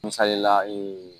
Misalila